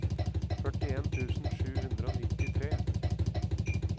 førtien tusen sju hundre og nittitre